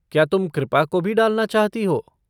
क्या तुम कृपा को भी डालना चाहती हो?